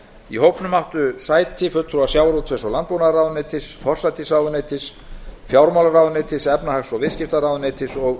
í hópnum áttu sæti fulltrúar sjávarútvegs og landbúnaðarráðuneytis forsætisráðuneytis fjármálaráðuneytis efnahags og viðskiptaráðuneytis og